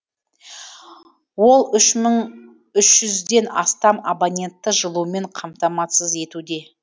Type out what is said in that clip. ол үш мың үш жүзден астам абонентті жылумен қамтамасыз етуде